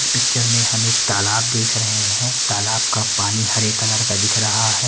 इस पिक्चर में हमें तालाब देख रहे हैं तालाब का पानी हरे कलर का दिख रहा है।